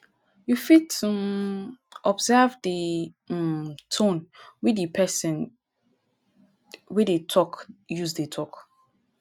you fit um observe di um tone wey di person wey dey talk use dey talk